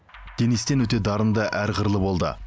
денис тен өте дарынды әр қырлы болды